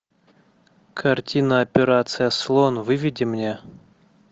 картина операция слон выведи мне